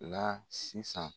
La sisan.